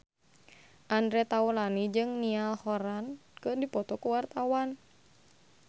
Andre Taulany jeung Niall Horran keur dipoto ku wartawan